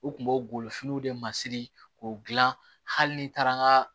U kun b'o golofiniw de masiri k'o dilan hali ni taara n ka